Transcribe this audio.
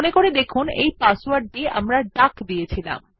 মনে করে দেখুন এই পাসওয়ার্ড টিও ডাক ছিল